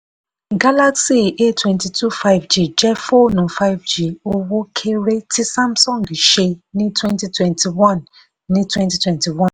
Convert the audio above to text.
galaxy a twenty two five gig jẹ́ fóònù five g owó-kéré tí samsung ṣe ní twenty twenty one. ní twenty twenty one.